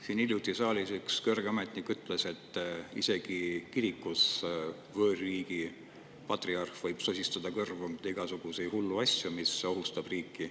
Siin hiljuti saalis üks kõrge ametnik ütles, et isegi kirikus võõrriigi patriarh võib sosistada kõrva igasuguseid hulle asju, mis ohustab riiki.